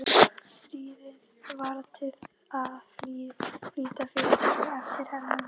Stríðið varð til að flýta fyrir þessum eftirhermum.